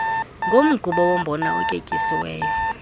nomgubo wombona otyetyisiweyo